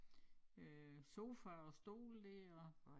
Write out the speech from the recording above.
Øh sofa og stole dér og